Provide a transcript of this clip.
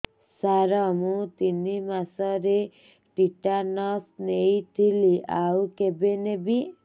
ସାର ମୁ ତିନି ମାସରେ ଟିଟାନସ ନେଇଥିଲି ଆଉ କେବେ ନେବି